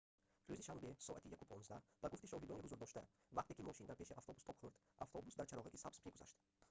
рӯзи шанбе соати 1:15 ба гуфти шоҳидони ҳузурдошта вақте ки мошин дар пеши автобус тоб хурд автобус дар чароғаки сабз мегузашт